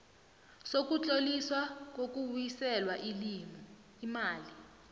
sokutloliswa kokubuyiselwa imali